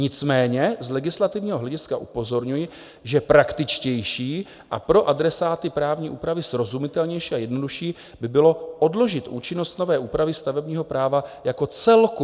Nicméně z legislativního hlediska upozorňuji, že praktičtější a pro adresáty právní úpravy srozumitelnější a jednodušší by bylo odložit účinnost nové úpravy stavebního práva jako celku."